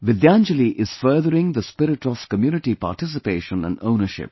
Vidyanjali is furthering the spirit of community participation and ownership